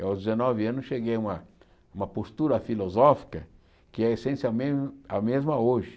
aos dezenove anos cheguei a uma uma postura filosófica que é a essência a mesma a mesma hoje.